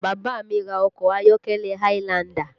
Bàbá mi ra ọkọ ayọ́kẹ́lẹ́ highlander